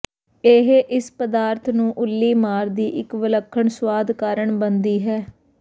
ਇਹ ਇਸ ਪਦਾਰਥ ਨੂੰ ਉੱਲੀਮਾਰ ਦੀ ਇੱਕ ਵਿਲੱਖਣ ਸੁਆਦ ਕਾਰਨ ਬਣਦੀ ਹੈ